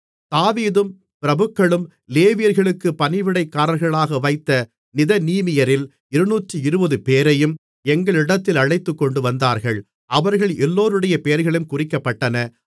தாவீதும் பிரபுக்களும் லேவியர்களுக்குப் பணிவிடைக்காரர்களாக வைத்த நிதனீமியரில் 220 பேரையும் எங்களிடத்தில் அழைத்துக்கொண்டு வந்தார்கள் அவர்கள் எல்லோருடைய பெயர்களும் குறிக்கப்பட்டன